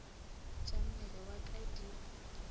tša mmele wa ka di